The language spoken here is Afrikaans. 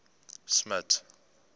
smuts